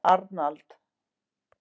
Arnald